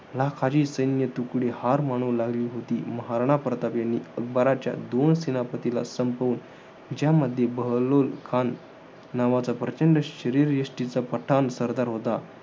लाखाची सैन्य तुकडी हार माणू लागली होती. महाराणा प्रतापांनी अकबराच्या दोन सेनापतीला संपवून, ज्यामध्ये बहलोलखान नावाचा, प्रचंड शरीरयष्टीचा पठाण सरदार होता.